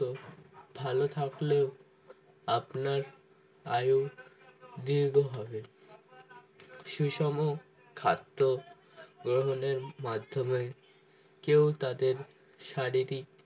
তো ভালো থাকলেও আপনার আয়ু দীর্ঘ হবে সুষম খাদ্য গ্রহণের মাধ্যমে কেউ তাদের শারীরিক